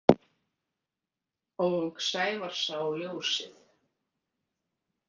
Og Sævar sá ljósið.